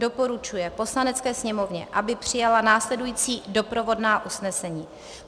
Doporučuje Poslanecké sněmovně, aby přijala následující doprovodná usnesení: